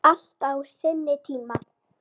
Allt á sinn tíma.